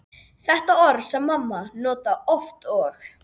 Sé litróf mannlífsins teiknað upp sem hringur, með meðal